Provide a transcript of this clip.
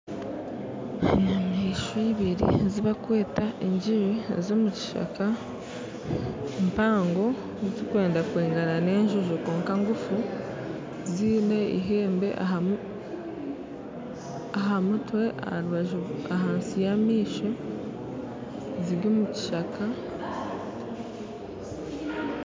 Enyamaishwa ibiri ezibarikweta engiri ez'omukishaka empango zirikwenda kwingana n'enjojo kwonka ngufu ziine ihembe aha mutwe ahansi y'amaisho ziri omukishaka